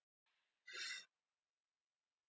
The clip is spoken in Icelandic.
Aðrir leiðangursmenn eru heilir á húfi